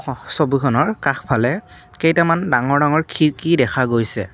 আস ছবিখনৰ কাষফালে কেইটামান ডাঙৰ ডাঙৰ খিৰিকী দেখা গৈছে।